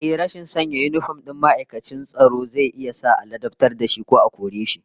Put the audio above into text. Ehh, rashin sanya yinifom din ma'aikacin tsaro zai iya sa a ladabtar da shi ko a kore shi